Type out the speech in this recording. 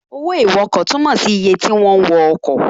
Owó ìwọkọ̀ túnmọ̀ sí iye ti wọ́n wọ ọkọ̀